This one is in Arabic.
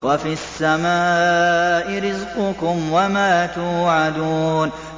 وَفِي السَّمَاءِ رِزْقُكُمْ وَمَا تُوعَدُونَ